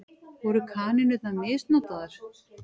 Voru kanínurnar misnotaðar?